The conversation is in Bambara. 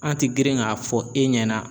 An ti girin k'a fɔ e ɲɛna